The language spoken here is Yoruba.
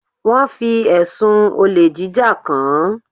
Wọn fi ẹ̀sùn olè jíjà kàn án.